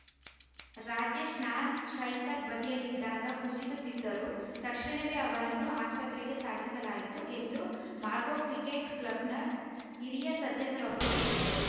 Rajesh non striker ಬದಿಯಲ್ಲಿದ್ದಾಗ ಕುಸಿದು ಬಿದ್ದರು ತಕ್ಷಣವೇ ಅವರನ್ನು ಆಸ್ಪತ್ರೆಗೆ ಸಾಗಿಸಲಾಯಿತು ಎಂದು ಮಾರ್ಗೋ ಕ್ರಿಕೆಟ್‌ ಕ್ಲಬ್‌ನ ಹಿರಿಯ ಸದಸ್ಯರೊಬ್ಬರು ಹೇಳಿದರು